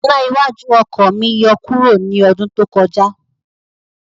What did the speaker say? Iná iwájú oko mi yọ kuro ni ọdún tó kọjá